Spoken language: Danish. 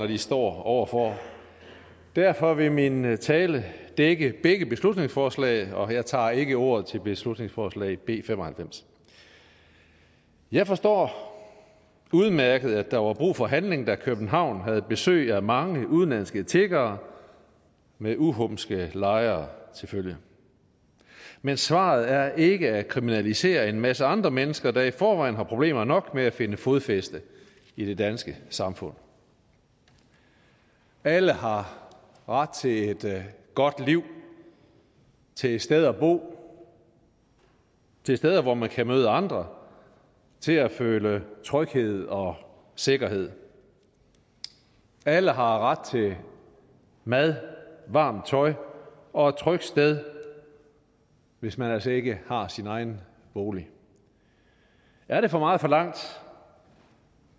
de står over for derfor vil min tale dække begge beslutningsforslag og jeg tager ikke ordet til beslutningsforslag b fem og halvfems jeg forstår udmærket at der var brug for handling da københavn havde besøg af mange udenlandske tiggere med uhumske lejre til følge men svaret er ikke at kriminalisere en masse andre mennesker der i forvejen har problemer nok med at finde fodfæste i det danske samfund alle har ret til et godt liv til et sted at bo til steder hvor man kan møde andre til at føle tryghed og sikkerhed alle har ret til mad varmt tøj og et trygt sted hvis man altså ikke har sin egen bolig er det for meget forlangt